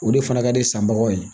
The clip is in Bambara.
O de fana ka di sanbagaw ye